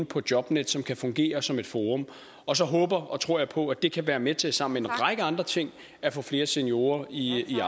på jobnet som kan fungere som et forum og så håber og tror jeg på at det kan være med til sammen med en række andre ting at få flere seniorer i